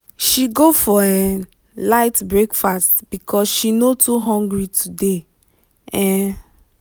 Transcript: she go for um light breakfast because she no too hungry today. um